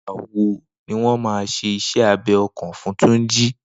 Nigbà wó niwọn mà ṣé iṣẹ àbẹ̀ ọkàn fùn Tunji?